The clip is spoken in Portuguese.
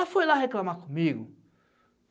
Ela foi lá reclamar comigo.